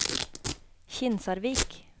Kinsarvik